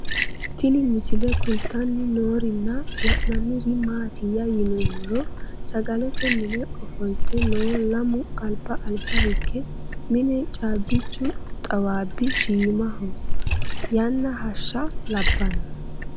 Tinni misile kulittanni noorrinna la'nanniri maattiya yinummoro sagalette minne offolitte noo lamu alibba alibba hige mine caabbichu xawaabbi shiimmaho yanna hashsha labbanno